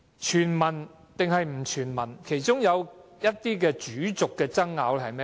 全民或不全民，其中一些主軸爭拗是甚麼？